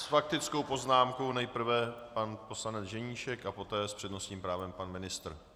S faktickou poznámkou nejprve pan poslanec Ženíšek a poté s přednostním právem pan ministr.